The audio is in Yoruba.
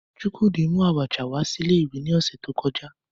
Chukwudi mu Abacha wa si ile iwe ni ose to koja